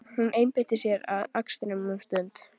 Hún einbeitir sér að akstrinum um stund.